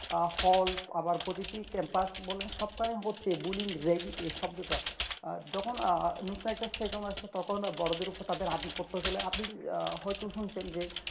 আহ হল আবার প্রতিটি campus সবকটাই হচ্ছে bulling ragging এই শব্দটা আহ যখন নতুন সেইজন আসছে তখন বোড়োদের উপর তাদের আদিপত্য আধিপত্য ছিল আপনি হয়তো শুনছেন যে